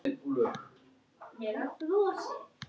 Birgis er sárt saknað.